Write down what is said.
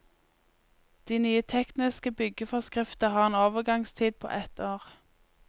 De nye tekniske byggeforskrifter har en overgangstid på ett år.